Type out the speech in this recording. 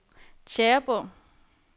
Tjæreborg